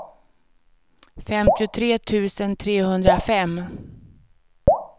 femtiotre tusen trehundrafem